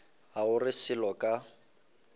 ga o re selo ka